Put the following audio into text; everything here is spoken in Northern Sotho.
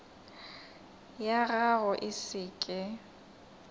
ya gago e se ke